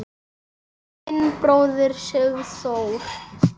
Þinn bróðir, Sigþór.